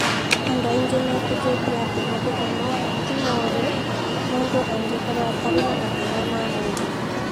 "Andũ aingĩ metĩkĩtie atĩ mathugumo ti mũũru, mũndũ angĩkorũo atarĩ na mathĩna ma mwĩrĩ.